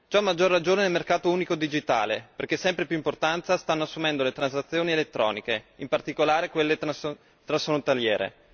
Ciò a maggior ragione nel mercato unico digitale, perché sempre più importanza stanno assumendo le transazioni elettroniche, in particolare quelle transfrontaliere.